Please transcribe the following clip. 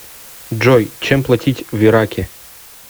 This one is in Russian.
джой чем платить в ираке